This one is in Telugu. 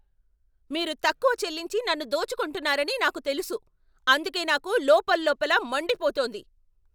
మీరు తక్కువ చెల్లించి నన్ను దోచుకుంటున్నారని నాకు తెలుసు, అందుకే నాకు లోపల్లోపల మండిపోతోంది.